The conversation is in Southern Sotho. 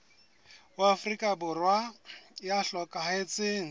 wa afrika borwa ya hlokahetseng